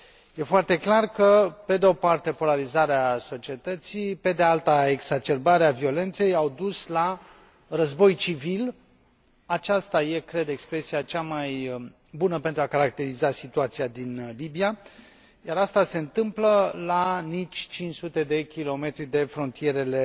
Este foarte clar că, pe de o parte, polarizarea societății, pe de alta, exacerbarea violenței au dus la război civil aceasta este, cred, expresia cea mai bună pentru a caracteriza situația din Libia, iar aceasta se întâmplă la nici 500 de kilometri de frontierele